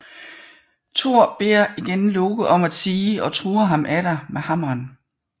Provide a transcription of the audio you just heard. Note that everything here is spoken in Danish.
Thor beder igen Loke om at tie og truer ham atter med hammeren